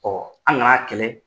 an ŋan'a kɛlɛ.